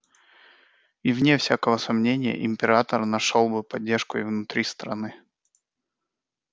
и вне всякого сомнения император нашёл бы поддержку и внутри страны